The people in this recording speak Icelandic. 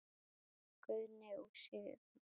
Guðni og Sigrún.